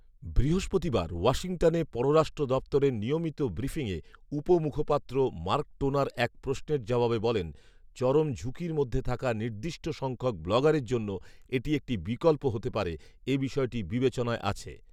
বৃহস্পতিবার ওয়াশিংটনে পররাষ্ট্র দপ্তরের নিয়মিত ব্রিফিংয়ে উপমুখপাত্র মার্ক টোনার এক প্রশ্নের জবাবে বলেন, ''চরম ঝুঁকির মধ্যে থাকা নির্দষ্ট সংখ্যক ব্লগারের জন্য এটি একটি বিকল্প হতে পারে, এ বিষয়টি বিবেচনায় আছে